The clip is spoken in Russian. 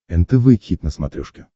нтв хит на смотрешке